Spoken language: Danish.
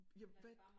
Ja hvad